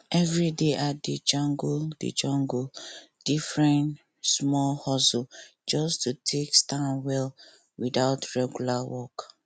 every day i dey juggle dey juggle different small hustle just to take stand well without regular work